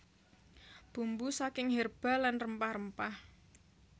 Bumbu saking herba lan rempah rempah